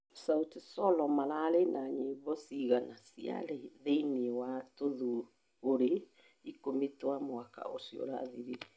sauti sol maraari na nyimbo cigana ciarĩ thĩinĩ wa tũthũngũri ikũmi twa mwaka ũcio ũrathirire?